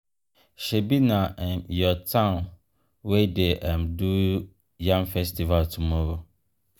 shebi na um your town wey dey um do yam festival tomorrow?